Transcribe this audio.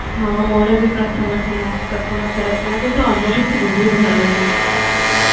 ହଁ ମୋର ବି ପ୍ରଥମ ଥିଲା ପ୍ରଥମଥର ଥିଲା କିନ୍ତୁ ଅନୁଭୂତି ବହୁତ ଭଲ ଥିଲା